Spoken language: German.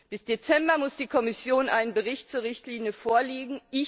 Bis Dezember muss die Kommission einen Bericht zur Richtlinie vorlegen.